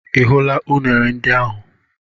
Ị hụla unere ndị ahụ?